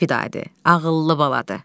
Vidadə ağıllı baladır.